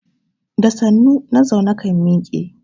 Da sannu na zaune kan miƙe.